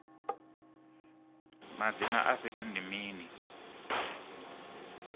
madzina a fhethu ndi mini